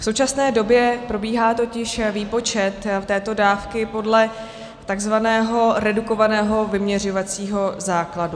V současné době probíhá totiž výpočet této dávky podle tzv. redukovaného vyměřovacího základu.